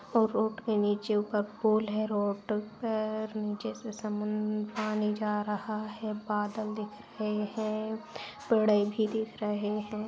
और रोड के नीचे ऊपर पुल है। रोड पेर नीचे से समुन्द पानी जा रहा है। बादल दिख रहे हैं। पेड़े भी दिख रहे हैं।